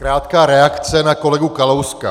Krátká reakce na kolegu Kalouska.